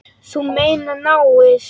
Þú meinar náið?